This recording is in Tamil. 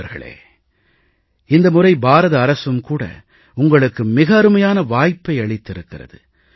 நண்பர்களே இந்த முறை பாரத அரசும் உங்களுக்கு மிக அருமையான வாய்ப்பை அளித்திருக்கிறது